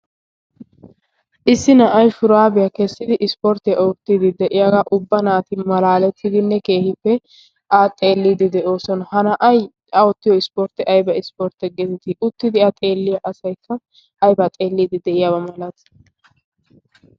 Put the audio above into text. issi na'ay puraabiyaa keessidi ispportti oottidi de'iyaagaa ubba naati malaalettidinne keehippe a xeelliidi de'oosona. ha na'ay oottiyo ispportti ayba ispportte geetetii uttidi a xeelliyaa asaykka aybaa xeelliidi de'iyaabaa malati?